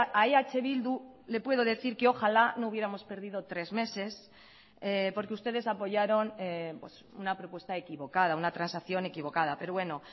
a eh bildu le puedo decir que ojalá no hubiéramos perdido tres meses porque ustedes apoyaron una propuesta equivocada una transacción equivocada pero bueno